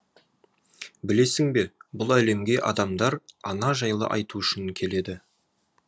білесің бе бұл әлемге адамдар ана жайлы айту үшін келеді